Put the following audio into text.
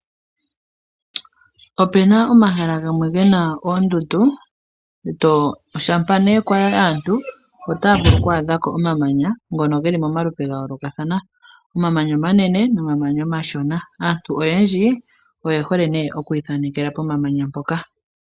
Ope na omahala gamwe ge na oondundu. Shampa nee kwa yi aantu otaya vulu oku adha ko omamanya ngono ge li momalupe ga yoolokathana. Omamanya omanene nomamanya omashona. Aantu oyendji oye hole nee oku ithanekela pomamanya mpoka.